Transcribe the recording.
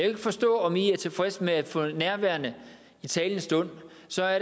ikke forstå om i er tilfredse med at der for nærværende i talende stund